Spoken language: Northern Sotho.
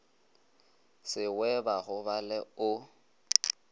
se we ba gobale o